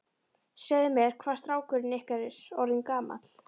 Segðu mér, hvað er strákurinn ykkar orðinn gamall?